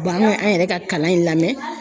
Ye b'an an yɛrɛ ka kalan in lamɛn.